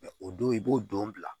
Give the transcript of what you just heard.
o don i b'o don bila